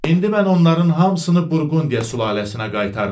İndi mən onların hamısını Burqundiya sülaləsinə qaytarıram.